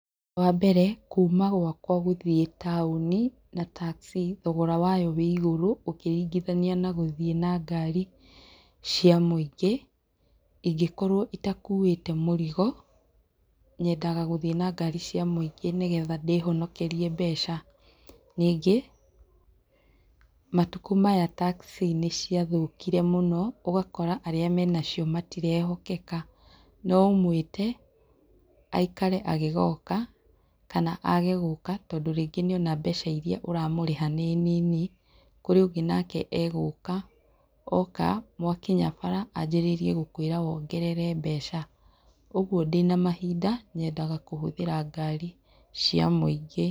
Wambere, kuma gwakwa gũthiĩ taũni na taxi, thogoro wayo wĩigũrũ ũkĩringithania nagũthĩ na ngari cia mũingĩ. Ingĩkorwo itakuĩte mũrigo nyendaga gũthiĩ na ngari cia mũingĩ nĩgetha ndĩhonokerie mbeca. Nyingĩ, matuko maya taxi nĩciathũkire mũno, ũgakora arĩa menacio matirehokeka . Noũmwĩte, aikare agĩgoka kana age gũka tondũ rĩngĩ nĩona mbeca iria ũramũrĩha nĩnini. Kũrĩ ũgĩ nake egũka, mwakinya bara anjĩrĩrie gũkwĩra wongerere mbeca. ũguo ndĩna mahinda, nyendaga kũhũthĩra ngari cia mũingĩ.